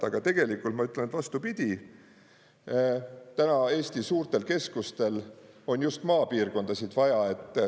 Aga tegelikult ma ütlen, et vastupidi, täna Eesti suurtel keskustel on just maapiirkondasid vaja.